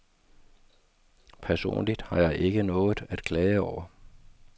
Personligt har jeg ikke noget at klage over.